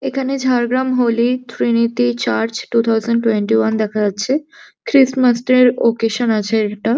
এখানে Jhargram holy trinity church two thousand twenty one দেখা যাচ্ছে ক্রিস মাসটার ওকেশন আছে এটা।